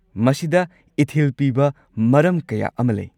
ꯃꯁꯤꯗ ꯏꯊꯤꯜ ꯄꯤꯕ ꯃꯔꯝ ꯀꯌꯥ ꯑꯃ ꯂꯩ꯫